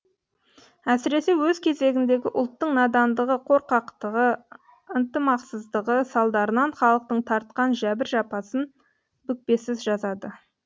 әсіресе өз кезегіндегі ұлттың надандығы қорқақтығы ынтымақсыздығы салдарынан халықтың тартқан жәбір жапасын бүкпесіз жазады